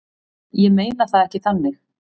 Ég meina það ekki þannig.